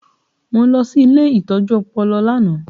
Mo lọ sí ilé ìtọ́jú ọpọlọ lánàá